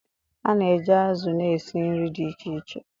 A na-eji azụ̀ na-esi nri dị iche iche.